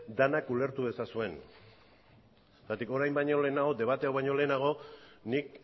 denak ulertu dezazuen zergatik orain baino lehenago debate hau baino lehenago nik